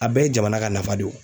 A bɛɛ ye jamana ka nafa de o.